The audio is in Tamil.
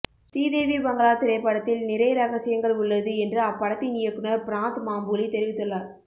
ஸ்ரீதேவி பங்களா திரைப்படத்தில் நிறை ரகசியங்கள் உள்ளது என்று அப்படத்தின் இயக்குநர் பிராந்த் மாம்புலி தெரிவித்துள்ளார்